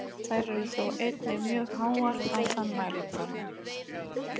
Þær eru þó einnig mjög háar á þann mælikvarða.